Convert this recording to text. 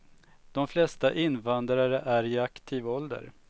De flesta invandrare är i aktiv ålder.